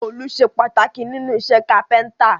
Òòlù sé pàtàkì nínú isẹ́ carpenter